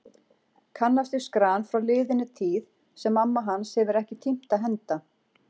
Kannast við skran frá liðinni tíð sem mamma hans hefur ekki tímt að henda.